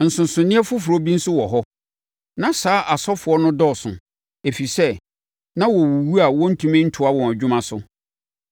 Nsonsonoeɛ foforɔ bi nso wɔ hɔ. Na saa asɔfoɔ no dɔɔso, ɛfiri sɛ, na wɔwuwu a wɔntumi ntoa wɔn adwuma so.